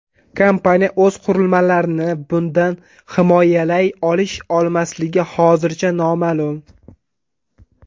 Kompaniya o‘z qurilmalarini bundan himoyalay olish-olmasligi hozircha noma’lum.